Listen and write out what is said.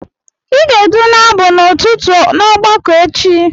Ị ga-edu n'abụ otuto n'ọgbakọ echi!